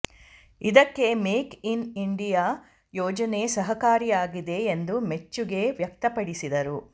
ಇದಕ್ಕೆ make in India ಯೋಜನೆ ಸಹಕಾರಿಯಾಗಿದೆ ಎಂದು ಮೆಚ್ಚುಗೆ ವ್ಯಕ್ತಪಡಿಸಿದರು